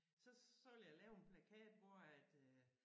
Så så ville jeg lave en plakat hvor at øh